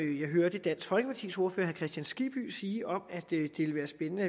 jeg hørte dansk folkepartis ordfører kristian skibby sige om at det ville være spændende